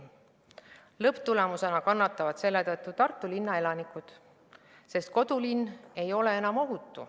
Lõpptulemusena kannatavad selle tõttu Tartu linna elanikud, sest kodulinn ei ole enam ohutu.